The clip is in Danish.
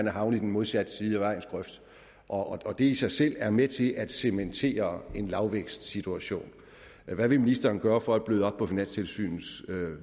havnet i den modsatte side af vejens grøft og og det i sig selv er med til at cementere en lavvækstsituation hvad vil ministeren gøre for at bløde op på finanstilsynets